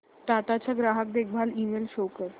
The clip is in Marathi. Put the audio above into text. टाटा चा ग्राहक देखभाल ईमेल शो कर